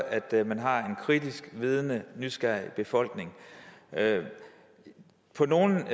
at man har en kritisk vidende og nysgerrig befolkning på nogle